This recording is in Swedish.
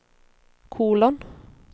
kolon